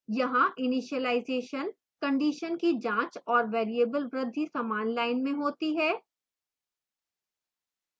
यहाँ initialization condition की जाँच और variable वृद्धि समान line में होती हैं